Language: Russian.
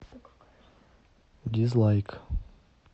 дизлайк